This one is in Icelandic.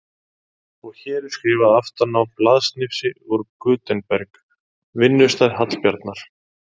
Og hér er skrifað aftan á blaðsnifsi úr Gutenberg, vinnustað Hallbjarnar